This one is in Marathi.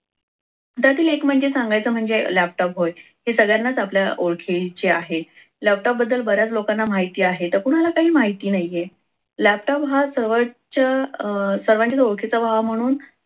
त्यातील एक म्हणजे सांगायचं म्हणजे laptop होय. हे सगळ्यांनाच आपल्या ओळखीचे आहे laptop बद्दल बऱ्याच लोकांना माहिती आहे तर कुणाला काही माहिती नाहीये laptop हा सर्वांचं सर्वांच्याच ओळखीचा व्हावा म्हणून